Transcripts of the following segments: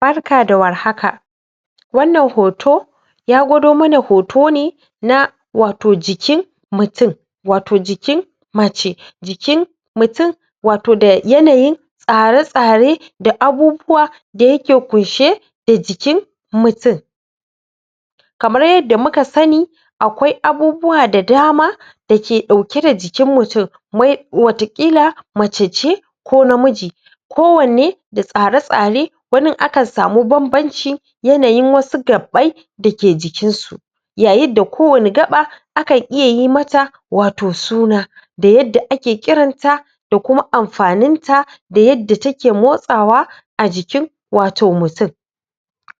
Barka da warhaka wannan hoto ya gwado mana hoto ne na wato jikin mutun wato jikin mace jiki mutun wato da yanayin tsare-tsare da abubuwa da yake kunshe da jikin mutun kamar yadda muka sani akwai abubuwa da dama da ke ɗauke da jikin mutun mai wata ƙila mace ce ko namiji kowanne da tsare-tsare wanin akan samu banbanci yanayin wasu gaɓɓai da ke jikinsu yayinda kowani gaɓa akan iya yi mata wato suna da yadda ake ƙiranta da kuma amfaninta da yadda take motsawa a jikin wato mutun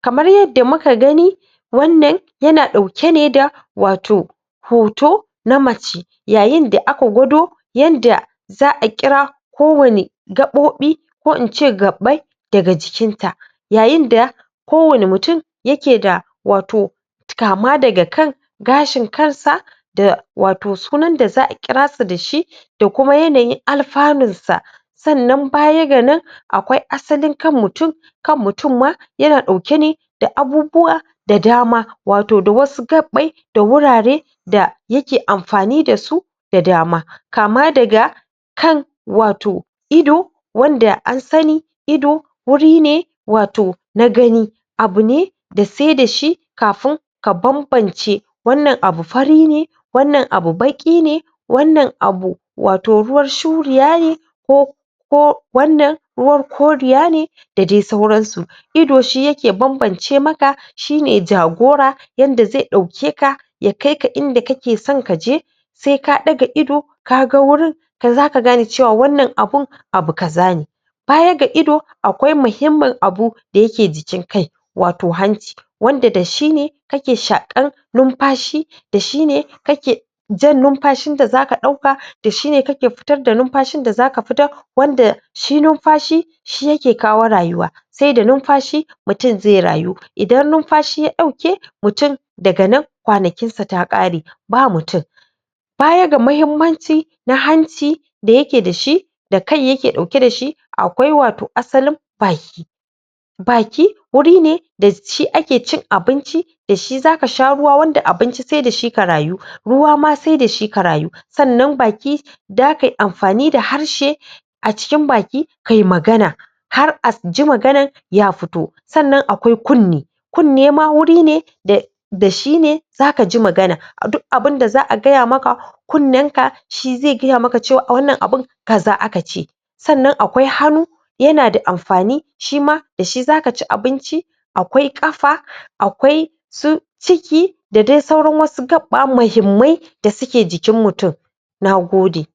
kamar yadda muka gani wannan yana ɗauke ne da wato hoto na mace yayinda aka gwado yanda za a ƙira kowani gaɓoɓi ko in ce gaɓɓai daga jikinta yayinda kowani mutun yake da wato kama daga kan gashin karsa da wato sunanda za a ƙirasa da shi da kuma yanayin alfanunsa sannan baya ga nan akwai asalin kan mutun kan mutun ma yana ɗauke ne da abubuwa da dama wato da wasu gaɓɓai da wurare da yake amfani da su da dama kama daga kan wato ido wanda an sani ido wuri ne wato na gani abu ne da sai da shi kafin ka banbance wannan abu fari ne wannan abu baƙine wannan abu wato ruwar shuriya ne ko ko wannan ruwar koriya ne da dai sauransu ido shi yake banbance maka shi ne jagora yanda zai ɗaukeka ya kaika inda kake san ka je sai k ɗaga ido ka ga wurin kan za ka gane cewa wannan abun abu kaza ne baya ga ido akwai mihimmin abu da yake jikin kai wato hanci wanda da shi ne kake shaƙar numfashi da shi ne kake jan numfashin da za ka ɗauka da shi ne za ka fitar da numfashin da za ka fitar wanda shi numfashi shi yake kawo rayuwa sai da numfashi mutun zai rayu idan numfashi ya ɗauke mutun daga nan kwanakinsa ta ƙare ba mutun baya ga mahimmanci na hanci da yake da shi da kai yake ɗauke da shi akwai wato asalin baki baki wuri ne da shi ake cin abinci da shi za ka sha ruwa wanda abinci sai da shi ka rayu ruwa ma sai da shi ka rayu sannan baki da ka yi amfani da harshe a cikin baki kai magana har a ji maganan ya fito sannan akwai kunne kunne ma wuri ne da da shi ne za ka ji magana dun abunda za a gaya maka kunnenka shi zai gaya maka cewa wannan abun kaza aka ce sannan akwai hannu yana da mafani shima da shi za ka ci abinci akwai ƙafa akwai su ciki da dai sauran wasu gaɓɓa mahimmai da suke jikin mutun na gode.